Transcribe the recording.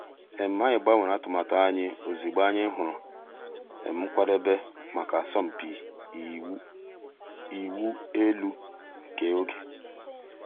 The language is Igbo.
ànyị̀ gbànwèrè àtùmàtù ànyị̀ òzịgbọ̀ ànyị̀ hụ̀rù um nkwàdèbè mǎká àsọ̀mpị ị̀wụ̀ èlù nke ògè.